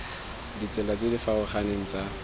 ditsela tse di farologaneng tsa